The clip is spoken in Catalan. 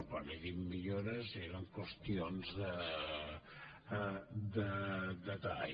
quan he dit millores eren qüestions de detall